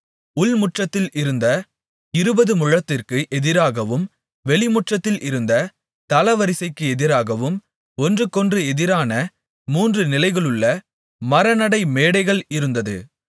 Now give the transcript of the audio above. உள்முற்றத்தில் இருந்த இருபது முழத்திற்கு எதிராகவும் வெளிமுற்றத்தில் இருந்த தளவரிசைக்கு எதிராகவும் ஒன்றுக்கொன்று எதிரான மூன்று நிலைகளுள்ள மரநடை மேடைகள் இருந்தது